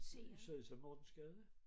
I sad så i Mortensgade